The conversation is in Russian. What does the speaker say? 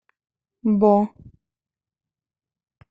бо